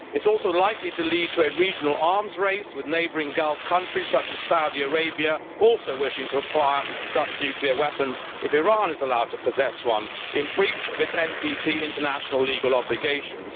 They are also likely to lead to a regional arms race, with neighbouring Gulf countries such as Saudi Arabia also wishing to acquire such nuclear weapons if Iran is allowed to possess one in breach of its NPT international legal obligations.